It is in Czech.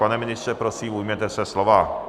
Pane ministře, prosím, ujměte se slova.